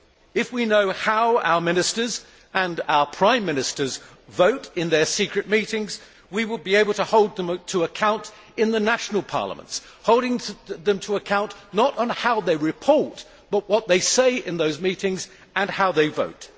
If we knew how our Ministers and our Prime Ministers vote in their secret meetings, we would be able to hold them to account in the national parliaments hold them to account not on how they report but what they say in those meetings and how they vote.